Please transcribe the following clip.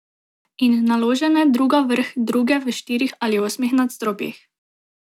In naložene druga vrh druge v štirih ali osmih nadstropjih.